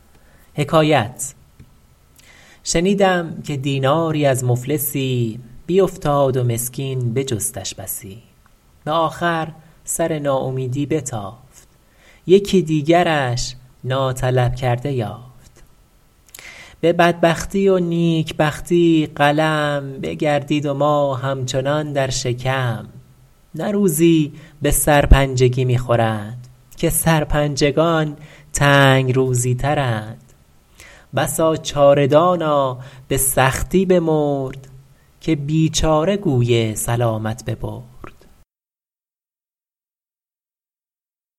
شنیدم که دیناری از مفلسی بیفتاد و مسکین بجستش بسی به آخر سر ناامیدی بتافت یکی دیگرش ناطلب کرده یافت به بدبختی و نیکبختی قلم بگردید و ما همچنان در شکم نه روزی به سرپنجگی می خورند که سرپنجگان تنگ روزی ترند بسا چاره دانا به سختی بمرد که بیچاره گوی سلامت ببرد